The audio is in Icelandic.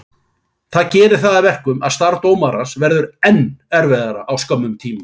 Það gerir það að verkum að starf dómarans verður enn erfiðara á skömmum tíma.